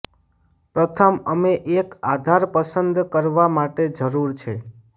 પ્રથમ અમે એક આધાર પસંદ કરવા માટે જરૂર છે